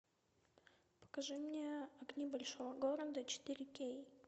покажи мне огни большого города четыре кей